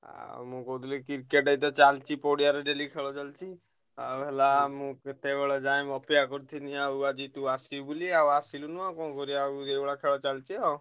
ମୁଁ କହୁଥିଲି Cricket ତ ଚାଲଚି ପଡିଆରେ daily ଖେଳ ଚାଲଚି। ଆଉ ହେଲା ମୁଁ ଏତେବେଳ ଯାଏ ଅପେକ୍ଷା କରିଥିଲି ଆଉ ଆଜି ତୁ ଆସିବୁ ବୋଲି ଆଉ ଆସିଲୁନୁ ଆଉ କଣ କରିଆ ଆଉ ଏଇଭଳିଆ ଖେଳ ଚାଲିଚି ଆଉ।